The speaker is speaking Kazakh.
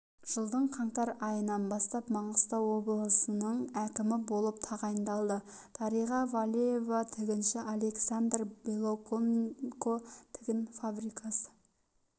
жылдың қаңтар айынан бастап маңғыстау облысының әкімі болып тағайындалды дариға валеева тігінші александр белоконенко тігін фабрикасы